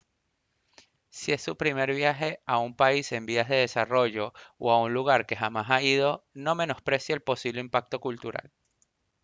si es su primer viaje a un país en vías de desarrollo o a un lugar que jamás ha ido no menosprecie el posible impacto cultural